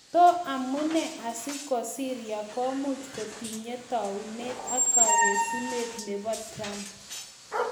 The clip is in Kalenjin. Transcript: To amune asi ko Syria komuch kotinye taunet ak kagesunet nebo Trump?